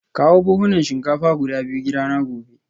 Kawo buhunan shinkafa guda biyu gidana gobe